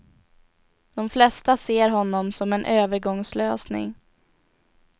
De flesta ser honom som en övergångslösning.